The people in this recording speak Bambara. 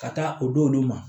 Ka taa o d'olu ma